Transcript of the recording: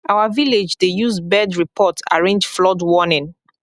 our village dey use use bird report arrange flood warning